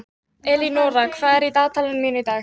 Elínóra, hvað er í dagatalinu mínu í dag?